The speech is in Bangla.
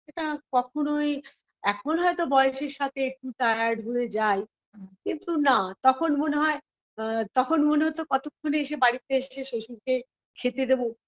এটা কখনোই এখন হয়তো বয়সের সাথে একটু tired হয়ে যাই কিন্তু না তখন মনে হয় আ তখন মনে হতো কতক্ষণে এসে বাড়িতে এসে শশুরকে খেতে দেবো